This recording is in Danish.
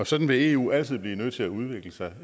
sådan vil eu altid blive nødt til at udvikle sig